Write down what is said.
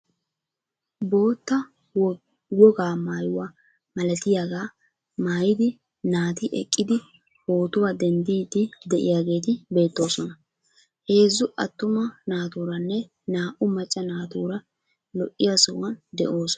Bootta wogaa maayuwaa malatiyaagaa maayidi naati eqqidi pootuwaa denddiidi de'iyaageti beettoosona. Heezzu attuma naaturanne naa"u macca naatura lo"iyaa sohuwaan de'oosona.